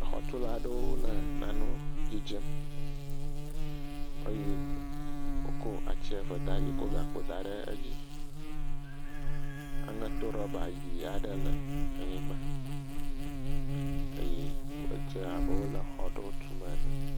Xɔtulawo le nane dzidzem eye wokɔ ati eve daɖi wokɔ gakpo daɖe dzi aŋetorɔba ɣi aɖe le anyigbã eye edze abe wole xɔ aɖe tum ene